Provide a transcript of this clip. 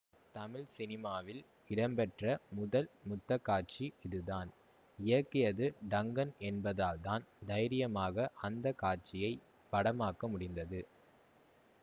தமிழ் சினிமாவில் இடம்பெற்ற முதல் முத்த காட்சி இதுதான் இயக்கியது டங்கன் என்பதால்தான் தைரியமாக அந்த காட்சியை படமாக்க முடிந்தது